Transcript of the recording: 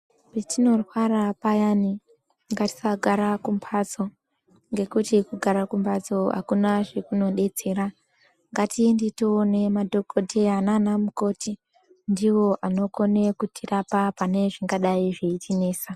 Patinorwara payani ngatisagara kumhatso ngekuti kugara kunmhatso hakuna zvakunobetsera. Ngatiende toone madhogodheya nana mukoti ndivoanokone kutirapa anezvingadai zveitinesa.